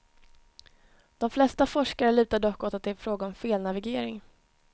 De flesta forskare lutar dock åt att det är fråga om felnavigering.